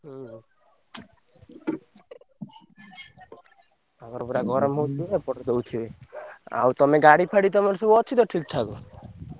ହୁଁ। ତାଙ୍କର ପୁରା ଗରମ ହଉଥିବ ଏପଟେ ଦଉଥିବେ। ଆଉ ତମେ ଗାଡି ଫାଡି ତମର ସବୁ ଅଛି ତ ଠିକ୍ ଠାକ?